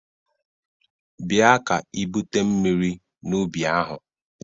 Bịa ka ibute mmiri n'ubi ahụ!